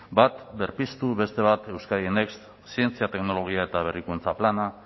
bat berpiztu beste bat euskadi next zientzia teknologia eta berrikuntza plana